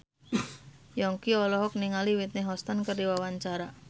Yongki olohok ningali Whitney Houston keur diwawancara